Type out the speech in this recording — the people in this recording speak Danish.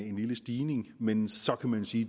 en lille stigning men så kan man sige